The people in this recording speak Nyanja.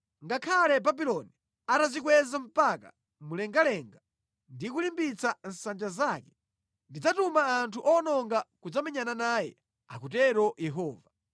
Ngakhale Babuloni atadzikweza mpaka mlengalenga ndi kulimbitsa nsanja zake, ndidzatuma anthu owononga kudzamenyana naye,” akutero Yehova.